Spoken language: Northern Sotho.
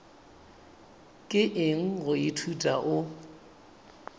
ke eng go ithuta o